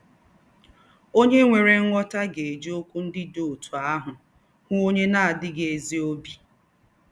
Onye nwere nghọta ga-eji okwu ndị dị otú ahụ hụ onye na-adịghị ezi obi.